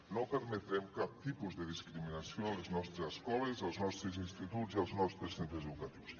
no permetrem cap tipus de discriminació a les nostres escoles als nostres instituts i als nostres centres educatius